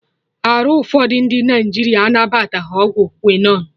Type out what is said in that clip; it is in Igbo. Arụ ụfọdụ ndị Naịjirịa anabataghị ọgwụ quinon